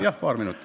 Jah, paar minutit.